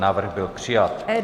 Návrh byl přijat.